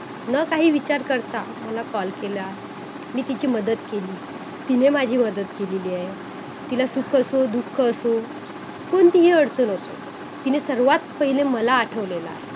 जे आजार होत असतात आपल्याला जे जडलेले असतात पहिल्यापासून ते सुद्धा हळूहळू कमी होतात जसे की diabetes शारीरिक आजार आणि जस बोलायला गेल की मानसिक क्षमता ही मनाची संबंधित असते.